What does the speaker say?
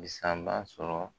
sɔrɔ